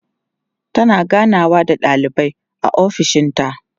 tana ganawa da ɗalibai a ofishinta